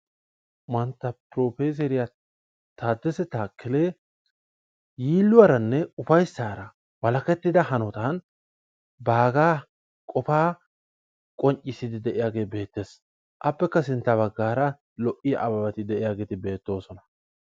Mantta Professeriyaa takele tadesse yiiluwaaaranne ufayssara baggara qofaa qonccisside de'iyaage beettees. appekka sintta baggara lo''iyaa ababati de'iyageeti beettoosona.